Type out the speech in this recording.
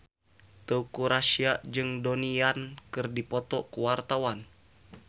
Teuku Rassya jeung Donnie Yan keur dipoto ku wartawan